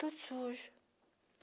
Tudo sujo.